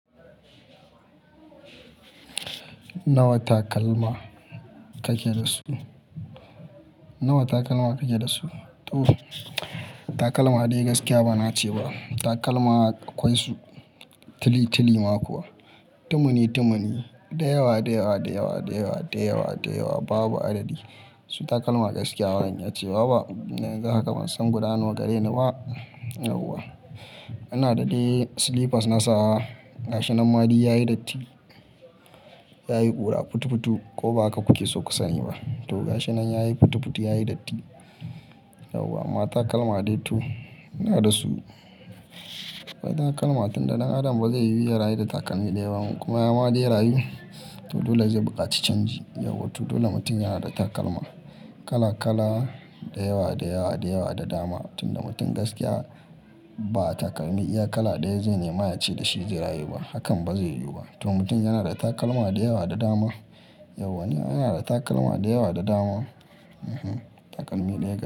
Nawa takalma kake da su? Nawa takalma kake da su? To, takalma dai gaskiya ba na ce ba. Takalma akwai su tili tili ma kuwa, tumuni tumuni, da yawa, da yawa, da yawa, da yawa, da yawa, da yawa babu adadi. Su takalma gaskiya baran iya ce, waba, dan yanzu haka ban san gudanarwa gare ni ba. Yauwa, ina da dai slippers na sa gashinan maduk yayi datti, yayi ƙura futu futu ko bahaka kuke so ku sani ba. To gashinan yayi futu futu yayi datti. Yauwa amma takalma dai to, ina da su. Akwai takalma tunda dan Adam ba zai yuya rayu da takalmi da yaba in kuma ya ma dai rayu. To dole zai buƙaci canji. Yauwa to dole mutum yana da takalma kala kala, da yawa, da yawa, da yawa da dama. Tunda mutum gaskiya ba'a takalmi iya kala ɗaya zai nema ya ce da shi zai rayu ba, hakan ba zai yiwu ba. To mutum yana da takalma da yawa da dama. Yauwa ni ina da takalma da yawa da dama. Ehn, takalmi daya gaskiya.